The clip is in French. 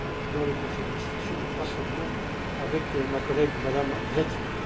dans les conseils d'administration, mais pas seulement, avec ma collègue, Mme Reding.